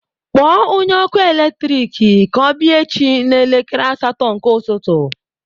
Kpọọ onye ọkụ eletrik ka ọ bịa echi n'elekere asatọ nke ụtụtụ